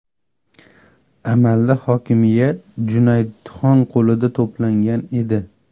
Amalda hokimiyat Junaydxon qo‘lida to‘plangan edi.